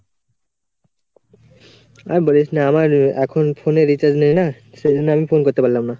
আর বলিস না, আমার এখন phone এ recharge নেই না সেইজন্য আমি phone করতে পারলাম না